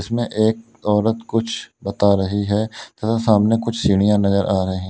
में एक औरत कुछ बता रही है तथा सामने कुछ सीढ़ियां नजर आ रहे--